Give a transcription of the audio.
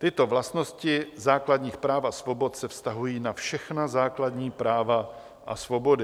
Tyto vlastnosti základních práv a svobod se vztahují na všechna základní práva a svobody.